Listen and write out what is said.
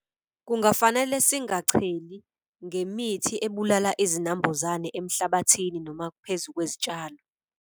Kungafanele singacheli ngemithi ebulala izinambuzane emhlabathini noma phezu kwezitshalo.